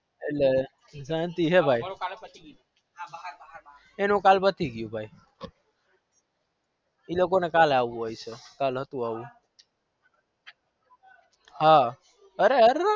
લે આ શાંતિ હ ભાઈ એનું કાલ પતિ ગયું એમન કાલ હતું એવું